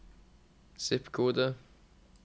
zip-kode